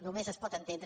només es pot entendre